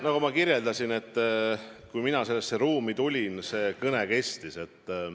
Nagu ma kirjeldasin, et kui mina sellesse ruumi astusin, oli see kõne juba alanud.